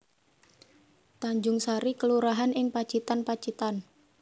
Tanjungsari kelurahan ing Pacitan Pacitan